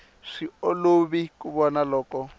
swi olovi ku vona loko